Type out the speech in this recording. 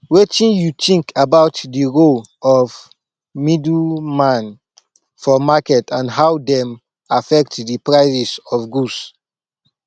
wetin you think about di role of middleman for market and how dem affect di prices of goods